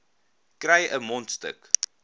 kry n mondstuk